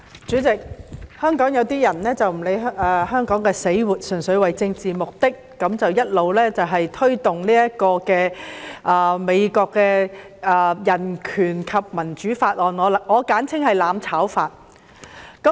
主席，香港有些人不理香港死活，純粹為政治目的一直推動美國的《香港法案》，我簡稱為"攬炒法"。